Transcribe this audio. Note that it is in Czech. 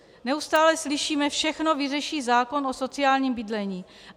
Neustále slyšíme: všechno vyřeší zákon o sociálním bydlení.